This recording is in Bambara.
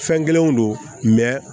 Fɛn kelenw don